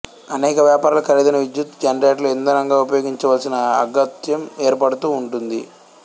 అనేక వ్యాపారాలు ఖరీదైన విద్యుత్తు జనరేటర్లు ఇంధనంగా ఉపయోగించవలసిన అగత్యం ఏర్పడుతూ ఉంటుంది